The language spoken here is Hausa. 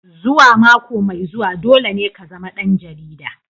Zuwa mako mai zuwa dole ne ka zama ɗan jarida.